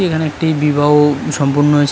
এখানে একটি বিবাহ সম্পন্ন হয়েছে।